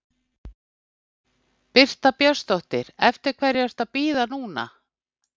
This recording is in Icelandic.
Birta Björnsdóttir: Eftir hverju ertu að bíða núna?